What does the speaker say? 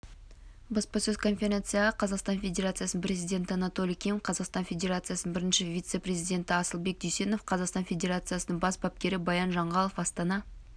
баспасөз конференцияға қазақстан федерациясының президенті анатолий ким қазақстан федерациясының бірінші вице-президенті асылбек дүйсенов қазақстан федерациясының бас бапкері баян жанғалов астана